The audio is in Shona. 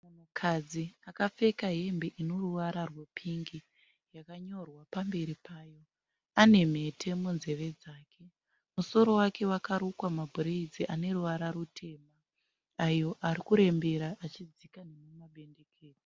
Munhukadzi akapfeka hembe ine ruvara rwepingi yakanyorwa pamberi payo. Ane mhete munzeve dzake. Musoro wake wakarukwa mabhureidzi ane ruvara rutema ayo ari kurembera achidzika nemumabendekete.